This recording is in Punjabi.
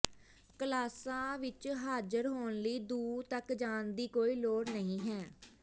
ਕਲਾਸਾਂ ਵਿਚ ਹਾਜ਼ਰ ਹੋਣ ਲਈ ਦੂਰ ਤਕ ਜਾਣ ਦੀ ਕੋਈ ਲੋੜ ਨਹੀਂ ਹੈ